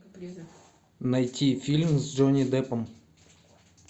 найти фильм с джонни деппом